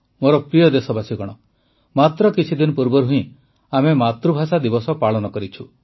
ମୋର ପ୍ରିୟ ଦେଶବାସୀଗଣ ମାତ୍ର କିଛିଦିନ ପୂର୍ବରୁ ହିଁ ଆମେ ମାତୃଭାଷା ଦିବସ ପାଳନ କରିଛୁ